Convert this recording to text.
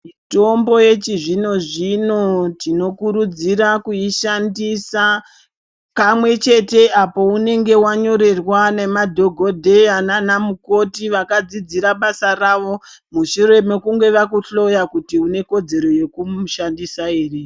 Mitombo yechizvino zvino tinokurudzira kuishandisa kamwechete apo unenge wanyorerwa nemadhokodheya nanamukoti vakadzidzira basa ravo mushire mekunge pakuhloya kuti anekudzero yeku mushandisa here.